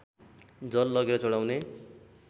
जल लगेर चढाउने